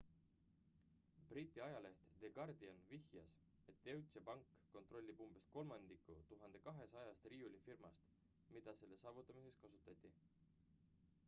briti ajaleht the guardian vihjas et deutsche bank kontrollib umbes kolmandikku 1200-st riiulifirmast mida selle saavutamiseks kasutati